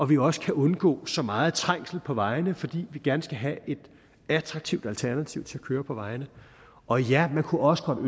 vi også kan undgå så meget trængsel på vejene fordi vi gerne skal have et attraktivt alternativ til at køre på vejene og ja man kunne også godt